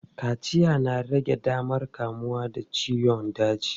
Kaciya na rage damar kamuwa da ciyon daji.